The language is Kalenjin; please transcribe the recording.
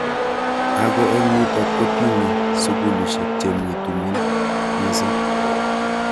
Ako eng nitok kutonye sukulishek che mi tumin mising.